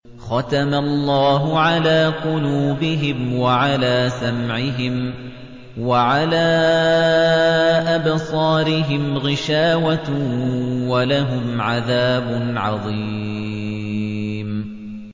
خَتَمَ اللَّهُ عَلَىٰ قُلُوبِهِمْ وَعَلَىٰ سَمْعِهِمْ ۖ وَعَلَىٰ أَبْصَارِهِمْ غِشَاوَةٌ ۖ وَلَهُمْ عَذَابٌ عَظِيمٌ